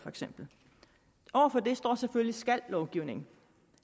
over for det står selvfølgelig skal lovgivningen